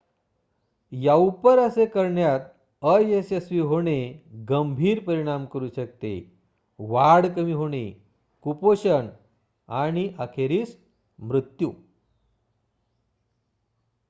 याउपर असे करण्यात अयशस्वी होणे गंभीर परिणाम करू शकते वाढ कमी होणे कुपोषण आणि अखेरीस मृत्यू